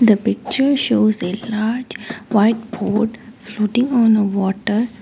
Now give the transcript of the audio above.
the picture shows a large white boat floating on a water.